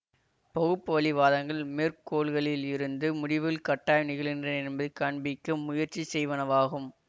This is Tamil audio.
பகுப்புவழி வாதங்கள் மேற்கோள்களில் இருந்து முடிவுகள் கட்டாயம் நிகழ்கின்றன என்பதை காண்பிக்க முயற்சி செய்வனவாகும்